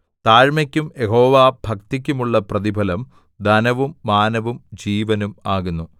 താഴ്മയ്ക്കും യഹോവാഭക്തിക്കും ഉള്ള പ്രതിഫലം ധനവും മാനവും ജീവനും ആകുന്നു